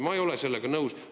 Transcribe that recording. Ma ei ole sellega nõus.